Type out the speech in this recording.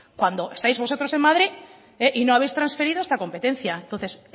cuando estáis vosotros en madrid y no habéis trasferido esta competencia entonces